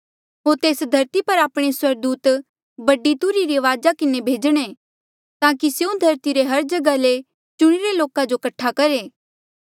होर तेस धरती पर आपणे स्वर्गदूत बड़ी तुरही री अवाज किन्हें भेजणे ताकि स्यों धरती रे हर जगहा ले चुणिरे लोक कठे करहे